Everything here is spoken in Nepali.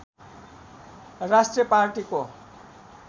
राष्ट्रिय पार्टीको